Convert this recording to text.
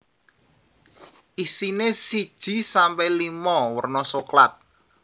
Isine siji sampe limo werna soklat